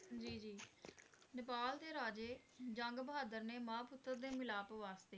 ਜੀ ਜੀ ਨੇਪਾਲ ਦੇ ਰਾਜੇ ਜੰਗ ਬਹਾਦਰ ਨੇ ਮਾਂ ਪੁੱਤਰ ਦੇ ਮਿਲਾਪ ਵਾਸਤੇ